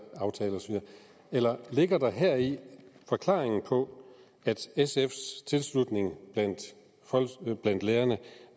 eller ligger der heri forklaringen på at sfs tilslutning blandt lærerne